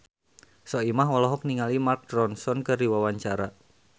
Soimah olohok ningali Mark Ronson keur diwawancara